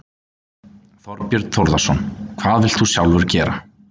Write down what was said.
Þorbjörn Þórðarson: Hvað vilt þú sjálfur gera?